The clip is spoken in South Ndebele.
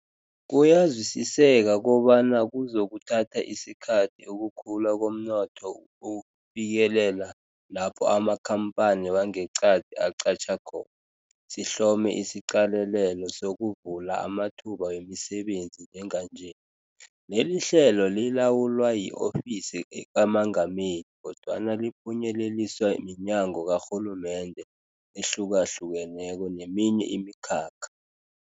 Kuyazwisiseka kobana kuzokuthatha isikhathi ukukhula komnotho ufikelela lapho amakhamphani wangeqadi aqatjha khona, sihlome isiqalelelo sokuvula amathuba wemisebenzi njenganje. Lelihlelo lilawulwa yi-Ofisi kaMengameli, kodwana liphunyeleliswa minyango karhulumende ehlukahlukeneko neminye imikhakha.